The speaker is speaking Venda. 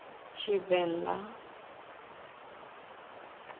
tshivenḓa